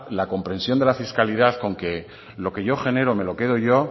la comprensión de la fiscalidad con que lo que yo genero me lo quedo yo